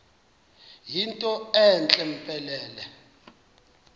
yinto entle mpelele